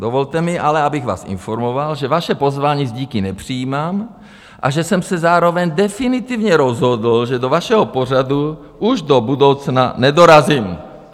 Dovolte mi ale, abych vás informoval, že vaše pozvání s díky nepřijímám a že jsem se zároveň definitivně rozhodl, že do vašeho pořadu už do budoucna nedorazím.